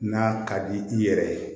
N'a ka di i yɛrɛ ye